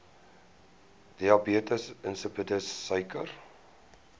diabetes insipidus suiker